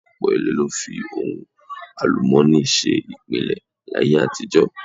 Ọ̀pọ̀ ilé ló fi ohun àlùmọ́ọ́nì ṣe ìpìlẹ̀ láyé àtijọ́.